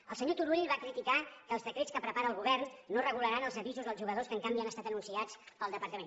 el senyor turull va criticar que els decrets que prepara el govern no regularan els avisos als jugadors que en canvi han estat anunciats pel departament